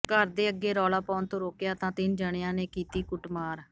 ਘਰ ਦੇ ਅੱਗੇ ਰੌਲਾ ਪਾਉਣ ਤੋਂ ਰੋਕਿਆ ਤਾਂ ਤਿੰਨ ਜਣਿਆਂ ਨੇ ਕੀਤੀ ਕੁੱਟਮਾਰ